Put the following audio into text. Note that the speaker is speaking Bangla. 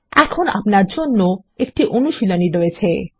এখন আপনার জন্য একটি অনুশীলনী রয়েছে